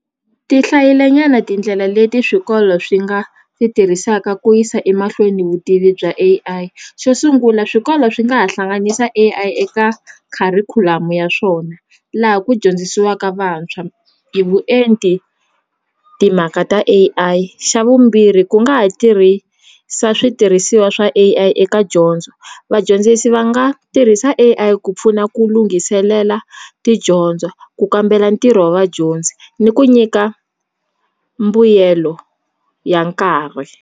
Ti hlayile nyana tindlela leti swikolo swi nga ti tirhisaka ku yisa emahlweni vutivi bya A_I xo sungula swikolo swi nga ha hlanganisa eka kharikhulamu ya swona laha ku dyondzisiwaka vantshwa hi vuenti timhaka ta A_I xa vumbirhi ku nga ha tirhisa switirhisiwa swa A_I eka dyondzo vadyondzisi va nga tirhisa A_I ku pfuna ku lunghiselela tidyondzo ku kambela ntirho wa vadyondzi ni ku nyika mbuyelo ya nkarhi.